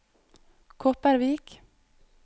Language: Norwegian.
Kopervik